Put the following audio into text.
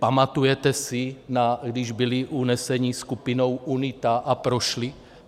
Pamatujete si, když byli uneseni skupinou UNITA a prošli?